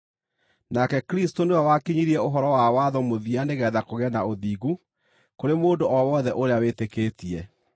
Nake Kristũ nĩwe wakinyirie ũhoro wa watho mũthia nĩgeetha kũgĩe na ũthingu kũrĩ mũndũ o wothe ũrĩa wĩtĩkĩtie.